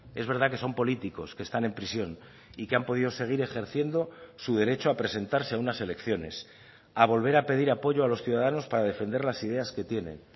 es verdad que son políticos que están en prisión y que han podido seguir ejerciendo su derecho a presentarse a unas elecciones a volver a pedir apoyo a los ciudadanos para defender las ideas que tienen